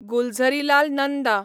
Gulzarilal Nanda